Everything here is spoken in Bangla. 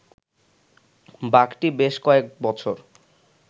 বাঘটি বেশ কয়েক বছর